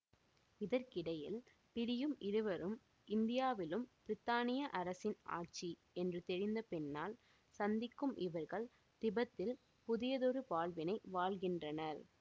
இதற்கிடையில் பிரியும் இருவரும் இந்தியாவிலும் பிரித்தானிய அரசின் ஆட்சி என்று தெரிந்த பின்னால் சந்திக்கும் இவர்கள் திபெத்தில் புதியதொரு வாழ்வினை வாழ்கின்றனர்